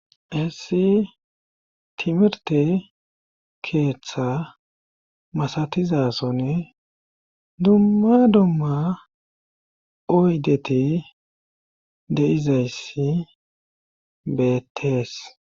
hessi timirte keeththa masatizasonne dumma dumma oydete de'izayssi betees